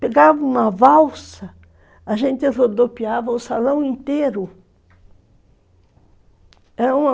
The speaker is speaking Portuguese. Pegava uma valsa, a gente rodopiava o salão inteiro.